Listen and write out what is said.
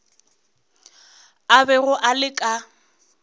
a bego a le ka